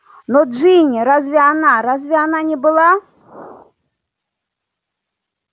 но джинни разве она разве она не была